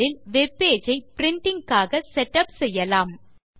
முதலில் web page ஐ printing க்காக செட் உப் செய்யலாம்